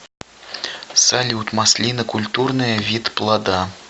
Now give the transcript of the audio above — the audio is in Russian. салют маслина культурная вид плода